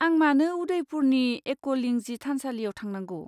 आं मानो उदयपुरनि एकलिंजी थानसालियाव थांनांगौ?